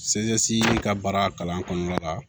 ka baara kalan kɔnɔna la